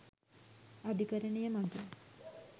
අධිකරණය මගින්